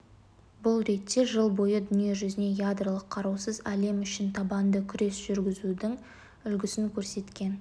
бұл ретте жыл бойы дүние жүзіне ядролық қарусыз әлем үшін табанды күрес жүргізудің үлгісін көрсеткен